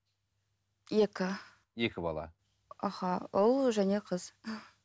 екі екі бала аха ұл және қыз